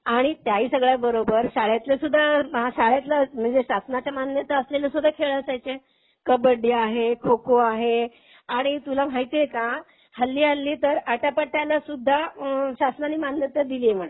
आणि त्या ही सगळ्या बरोबर शाळेतलं सुद्धा पहा, शाळेतलं म्हणजे शासनाच्या मान्यता असलेले सुद्धा खेळ असायचे. कबड्डी आहे, खोखो आहे. आणि तुला माहिती आहे का. हल्ली हल्ली तर आट्यापाट्याला सुद्धा शासनानी मान्यता दिलीये म्हणे.